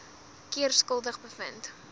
keer skuldig bevind